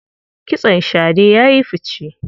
Kitson shade ya yi fice.